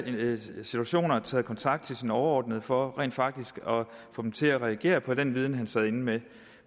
situationer taget kontakt til sine overordnede for rent faktisk at få dem til at reagere på den viden han sad inde med